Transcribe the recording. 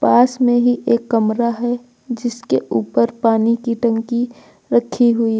पास में ही एक कमरा है जिसके ऊपर पानी की टंकी रखी हुई है।